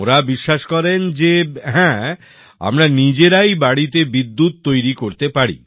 ওঁরা বিশ্বাস করেন যে হ্যাঁ আমরা নিজেদের বাড়িতেই বিদ্যুৎ তৈরি করতে পারি